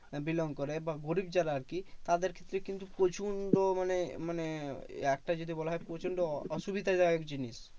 Belong করে বা গরিব যারা আরকি তাদের ক্ষেত্রে কিন্তু প্রচন্ড মানে একটা যদি বলা হয় প্রচন্ড অসুবিধাদায়ক জিনিস।